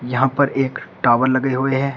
यहां पर एक टावर लगे हुए हैं।